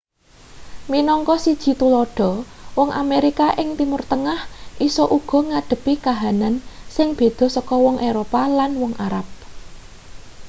minangka siji tuladha wong amerika ing timur tengah isa uga ngadhepi kahanan sing beda saka wong eropa lan wong arab